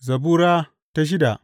Zabura Sura shida